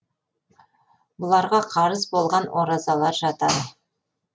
бұларға қарыз болған оразалар жатады